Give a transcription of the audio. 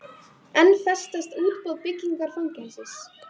Enn frestast útboð byggingar fangelsis